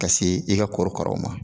Ka se e ga korokaraw ma